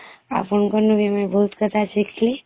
ଆପଣଙ୍କ ନି ମୁଁଇଂ ବହୁତ କଥା ଶିଖଲି